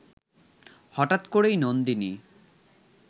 হঠাৎ করেই নন্দিনী